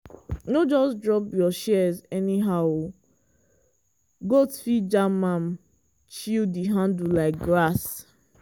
no just drop your shears anyhow oh goat fit jam am chew di handle like grass.